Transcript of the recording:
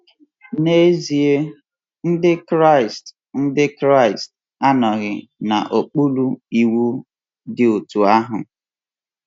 N’ezie, Ndị Kraịst Ndị Kraịst anọghị n’okpuru iwu dị otú ahụ.